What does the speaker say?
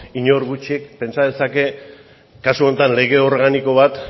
inork gutxik pentsa dezake kasu honetan lege organiko bat